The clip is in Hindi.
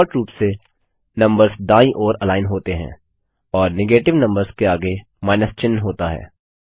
डिफॉल्ट रूप से नम्बर्स दायीं ओर अलाइन होते हैं और नेगेटीव नम्बर्स के आगे माइनस चिन्ह होता है